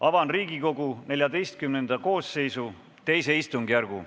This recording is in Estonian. Avan Riigikogu XIV koosseisu II istungjärgu.